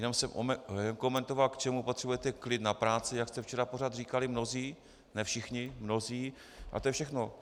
Jenom jsem komentoval, k čemu potřebujete klid na práci, jak jste včera pořád říkali mnozí, ne všichni, mnozí, a to je všechno.